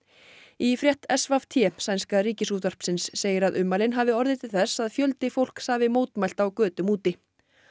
í frétt s v t sænska Ríkisútvarpsins segir að ummælin hafi orðið til þess að fjöldi fólks hafi mótmælt á götum úti